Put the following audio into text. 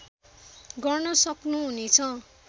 गर्न सक्नु हुने छ